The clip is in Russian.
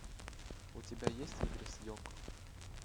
у тебя есть игры с йоко